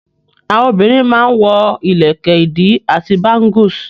Àwọn obìrin má n wọ ìlẹ̀kẹ̀ ìdí àti bángùs.